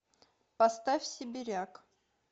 поставь сибиряк